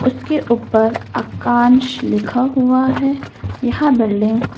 उसके ऊपर आकांश लिखा हुआ है यह बिल्डिंग --